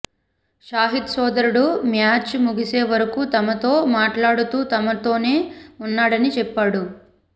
షాహిద్ సోదరుడు మ్యాచు ముగిసే వరకు తమతో మాట్లాడుతూ తమతోనే ఉన్నాడని చెప్పాడు